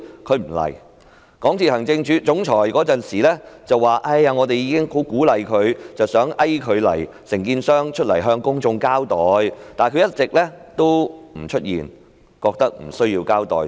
港鐵公司的行政總裁當時說已經十分努力鼓勵和遊說承建商向公眾交代，但他們一直沒有出現，認為無須交代。